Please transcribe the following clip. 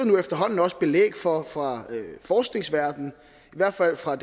nu efterhånden også belæg for fra forskningsverdenen i hvert fald fra